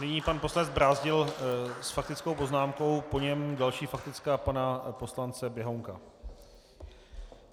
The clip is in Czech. Nyní pan poslanec Brázdil s faktickou poznámkou, po něm další faktická pana poslance Běhounka.